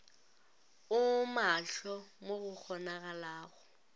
o maahlo mo go kgonagalago